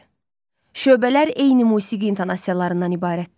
Şöbələr eyni musiqi intonasiyalarından ibarətdir.